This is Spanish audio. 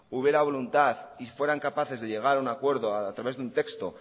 hubiera voluntad y fueran capaces de llegar a un acuerdo a través de un texto